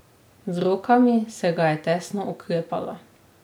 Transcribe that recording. Z rokami se ga je tesno oklepala.